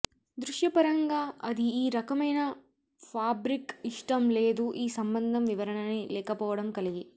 దృశ్యపరంగా అది ఈ రకమైన ఫాబ్రిక్ ఇష్టం లేదు ఈ సంబంధం వివరణని లేకపోవడం కలిగి